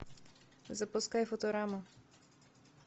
запускай футураму